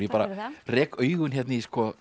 rek augun í